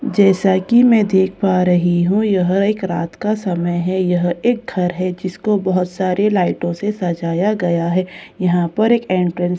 जैसा की मैं देख पा रही हूँ यह एक रात का समय है यह एक घर है जिसको बहुत सारे लाइटों से सजाया गया है यहां पर एक एंट्रेंस के लिए --